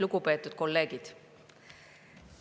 Lugupeetud kolleegid!